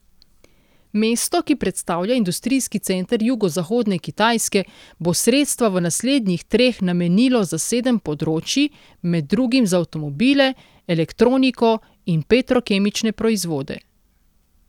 Mesto, ki predstavlja industrijski center jugozahodne Kitajske, bo sredstva v naslednjih treh namenilo za sedem področij, med drugim za avtomobile, elektroniko in petrokemične proizvode.